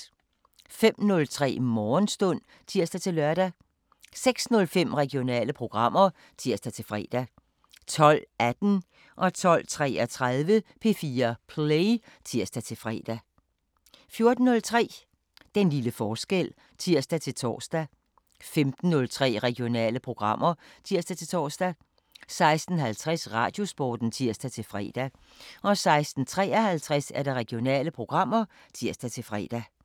05:03: Morgenstund (tir-lør) 06:05: Regionale programmer (tir-fre) 12:18: P4 Play (tir-fre) 12:33: P4 Play (tir-fre) 14:03: Den lille forskel (tir-tor) 15:03: Regionale programmer (tir-tor) 16:50: Radiosporten (tir-fre) 16:53: Regionale programmer (tir-fre)